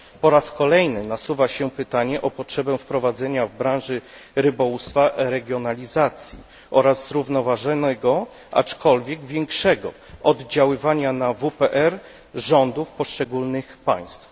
Po raz kolejny nasuwa się pytanie o potrzebę wprowadzenia w branży rybołówstwa regionalizacji oraz zrównoważonego, aczkolwiek większego oddziaływania na WPRyb rządów poszczególnych państw.